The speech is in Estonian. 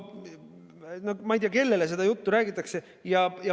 No ma ei tea, kellele seda juttu räägitakse.